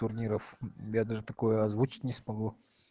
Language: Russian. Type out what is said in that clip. турниров я даже такое озвучить не смогу